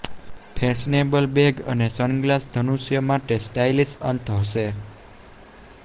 fashionable bag અને sunglass ધનુષ્ય માટે સ્ટાઇલિશ અંત હશે